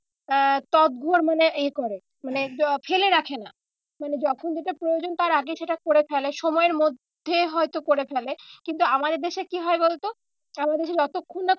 আহ মানে এ করে মানে ফেলে রাখে না। মানে যখন যেটা প্রয়োজন তার আগে সেটা করে ফেলে সময়ের মধ্যে হয়তো করে ফেলে। কিন্তু আমাদের দেশে কি হয় বলতো আমাদের দেশে যতক্ষণ না